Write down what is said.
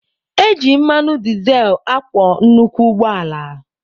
Eji mmanụ dizel akwọ nnukwu ụgbọala.